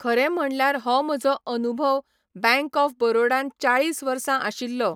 खरें म्हणल्यार हो म्हजो अनुभव बँक ऑफ बरोडान चाळीस वर्सां आशिल्लो.